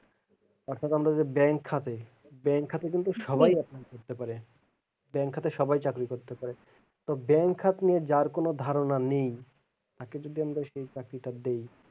অর্থাৎ আমরা যে bank খাতে bank খাতে কিন্তু সবাই apply করতে পারে bank খাতে সবাই চাকরি করতে পারে তো bank খাত নিয়ে যার কোনো ধারনা নেই তাকে যদি আমরা সেই চাকরিটা দেই,